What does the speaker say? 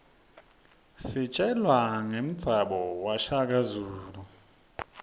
sitjelwa rqemzanbuo washaka zulu